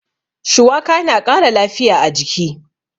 Shuwaka na ƙara lafiya a jiki.